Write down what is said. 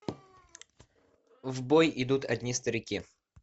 в бой идут одни старики